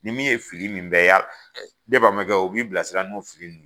Ni min ye fili min bɛɛ y'a, ne balimankɛ o b'i bila sira n'o fili ye.